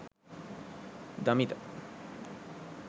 damitha